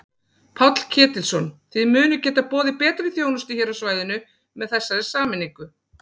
Páll Ketilsson: Þið munið geta boðið betri þjónustu hér á svæðinu með þessari sameiningu?